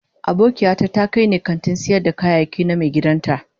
Abokiata ta kai ni kantin sayar da kayayyaki na maigidan ta